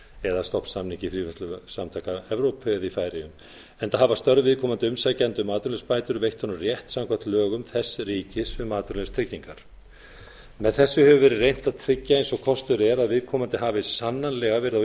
eða stofnsamningi fríverslunarsamtaka evrópu eða í færeyjum enda hafi störf viðkomandi umsækjanda um atvinnuleysisbætur veitt honum rétt samkvæmt lögum þess ríkis um atvinnuleysistryggingar með þessu hefur verið reynt að tryggja eins og kostur er að viðkomandi hafi sannanlega verið á